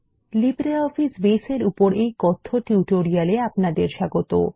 LibreOffice Base এর উপর এই কথ্য টিউটোরিয়ালে আপনাদের স্বাগত